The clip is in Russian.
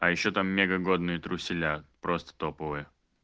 а ещё там мега годные труселя просто топовые